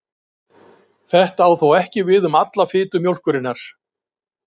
Þetta á þó ekki við um alla fitu mjólkurinnar.